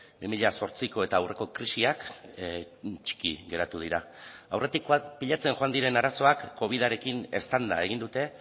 bi mila zortziko eta aurreko krisiak txiki geratu dira aurretikoak pilatzen joan diren arazoak covidarekin eztanda egin dute